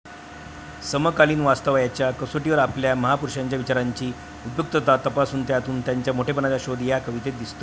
समकालीन वास्तवाच्या कसोटीवर आपल्या महापुरुषांच्या विचारांची उपयुक्तता तपासून, त्यातून त्यांच्या मोठेपणाचा शोध या कवितेत दिसतो.